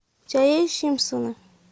у тебя есть симпсоны